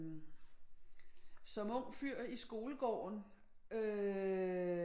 Som ung fyr i skolegården øh